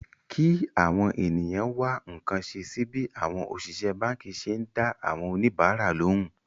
kí àwọn ènìyàn wá nǹkan ṣe sí bí àwọn òṣìṣẹ́ báǹkì ṣe ń dá àwọn oníbàárà lóhùn